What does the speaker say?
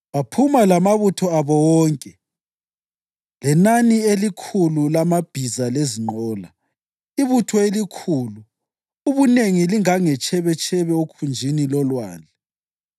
Baphuma lamabutho abo wonke lenani elikhulu lamabhiza lezinqola, ibutho elikhulu, ubunengi lingangetshebetshebe okhunjini lolwandle.